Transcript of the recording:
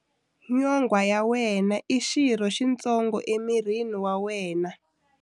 Nyonghwa ya wena i xirho xitsongo emirini wa wena.